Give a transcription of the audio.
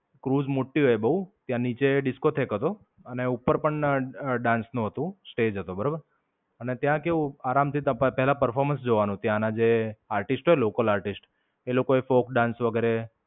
Cruise મોટી હોય બોવ. ત્યાં નીચે Disco-theque હતો અને ઉપર પણ dance નું હતું stage હતો બરોબર. અને ત્યાં કેવું આરામ થી ત્યાં તર્પ ત્યાંના performance જોવાનું ત્યાં ના જે artist હોય local artist એ લોકો એ folk dance વગેરે.